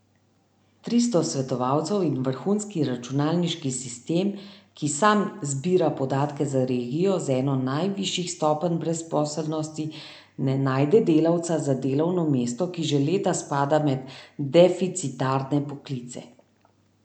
Tristo svetovalcev in vrhunski računalniški sistem, ki sam zbira podatke za regijo z eno najvišjih stopenj brezposelnosti, ne najde delavca za delovno mesto, ki že leta spada med deficitarne poklice.